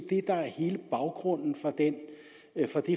det der er hele baggrunden for det